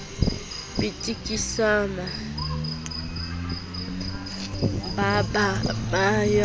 pitikisana ba ba ba ya